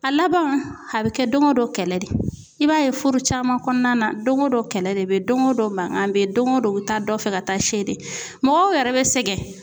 A laban a bɛ kɛ doŋo don kɛlɛ de. I b'a ye furu caman kɔɔna na doŋo don kɛlɛ de be ye, doŋo don mankan be ye, doŋo don u bi taa dɔ fɛ ka taa see de. Mɔgɔw yɛrɛ bɛ sɛgɛn.